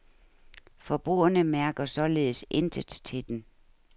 Forbrugerne mærker således intet til den.